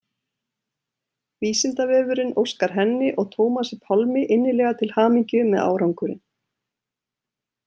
Vísindavefurinn óskar henni og Tómasi Pálmi innilega til hamingju með árangurinn.